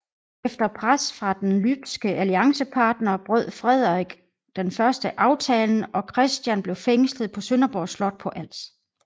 Efter pres fra den lybske alliancepartner brød Frederik I aftalen og Christian blev fængslet på Sønderborg slot på Als